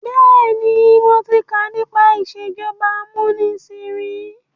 Bẹ́ẹ̀ni, mo ti kà nípa ìsèjọba amúnisìn ríi.